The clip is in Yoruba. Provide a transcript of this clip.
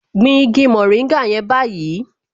Gbin igi mòríngà yẹn báyìí